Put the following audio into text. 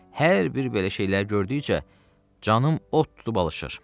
Hər bir belə şeyləri gördükcə canım od tutub alışır.